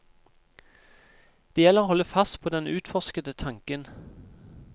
Det gjelder å holde fast på den utforskende tanken.